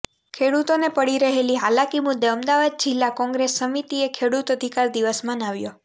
ખેડૂતોને પડી રહેલી હાલાકી મુદ્દે અમદાવાદ જિલ્લા કોગ્રેસ સમિતિએ ખેડૂત અધિકાર દિવસ મનાવ્યો